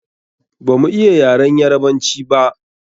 Ba mu iya yaren Yarabanci ba.